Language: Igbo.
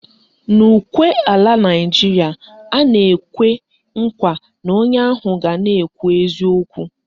N'ukwe ala Naịjiria, a na-ekwe nkwa na onye ahụ ga na-ekwu eziokwu